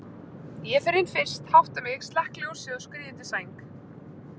Ég fer inn fyrst, hátta mig, slekk ljósið og skríð undir sæng.